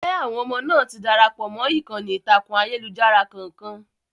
jẹ́ àwọn ọmọ náà ti darapọ̀ mọ́ ìkànnì ìtàkùn ayélujára kankan?